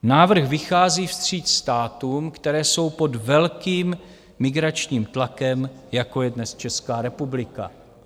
Návrh vychází vstříc státům, které jsou pod velkým migračním tlakem, jako je dnes Česká republika.